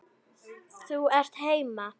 Þú ert heima!